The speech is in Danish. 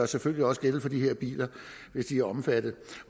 selvfølgelig også gælde for de her biler hvis de er omfattet